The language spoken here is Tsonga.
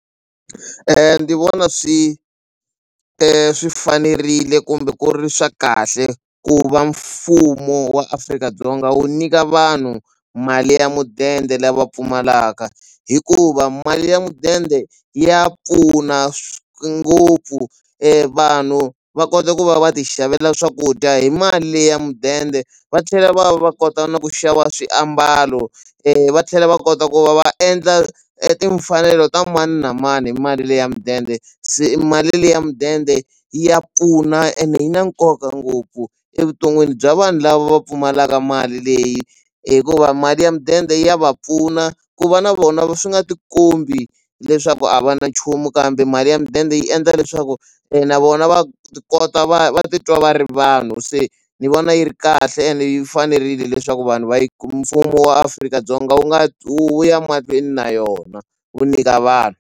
Ndzi vona swi swi fanerile kumbe ku ri swa kahle ku va mfumo wa Afrika-Dzonga wu nyika vanhu mali ya mudende lava pfumalaka hikuva mali ya mudende ya pfuna ngopfu vanhu va kota ku va va ti xavela swakudya hi mali leyi ya mudende va tlhela va va kota na ku xava swiambalo va tlhela va kota ku va va endla e timfanelo ta mani na mani hi mali le ya mudende se mali leyi ya mudende ya pfuna ene yi na nkoka ngopfu evuton'wini bya vanhu lava va pfumalaka mali leyi hikuva mali ya mudende ya va pfuna ku va na vona swi nga ti kombi leswaku a va na nchumu kambe mali ya mudende yi endla leswaku na vona va ti kota va va titwa va ri vanhu se ni vona yi ri kahle ene yi fanerile leswaku vanhu va yi mfumo wa Afrika-Dzonga wu nga wu wu ya mahlweni na yona wu nyika vanhu.